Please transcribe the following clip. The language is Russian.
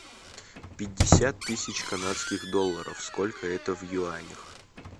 пятьдесят тысяч канадских долларов сколько это в юанях